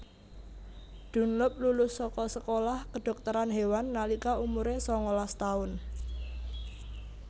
Dunlop lulus saka sekolah Kedhokteran Hewan nalika umure sangalas taun